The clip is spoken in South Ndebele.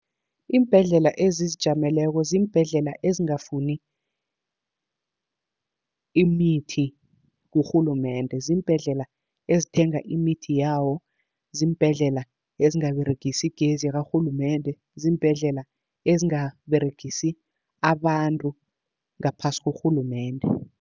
Iimbhedlela ezizijameleko ziimbhedlela ezingafuni imithi kurhulumende. Ziimbhedlela ezithenga imithi yawo. Ziimbhedlela ezingaberegisi igezi yakarhulumende. Ziimbhedlela ezingaberegisi abantu ngaphasi kurhulumende.